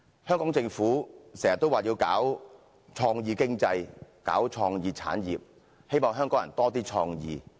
"香港政府經常說要搞創意經濟和創意產業，希望香港人有較多創意。